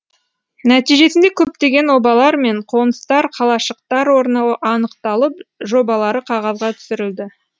нәтижесінде көптеген обалар мен қоныстар қалашықтар орны анықталып жобалары қағазға түсірілді